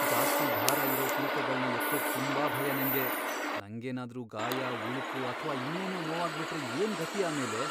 ಜಾಸ್ತಿ ಭಾರ ಇರೋ ತೂಕಗಳ್ನ ಎತ್ತೋಕ್ ತುಂಬಾ ಭಯ ನಂಗೆ. ನಂಗೇನಾದ್ರೂ ಗಾಯ, ಉಳುಕು ಅಥ್ವಾ ಇನ್ನೇನೋ ನೋವಾಗ್ಬಿಟ್ರೆ ಏನ್ಗತಿ ಆಮೇಲೆ?